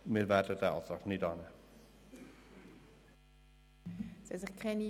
Wir werden den Antrag nicht annehmen.